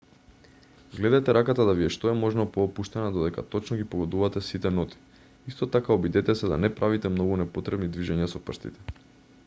гледајте раката да ви е што е можно поопуштена додека точно ги погодувате сите ноти исто така обидете се да не правите многу непотребни движења со прстите